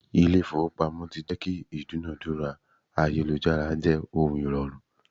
Ilé ifowopamo tí jẹ́ kí ìdúnadúrà ayélujára jẹ́ ohun ìrọ̀rùn.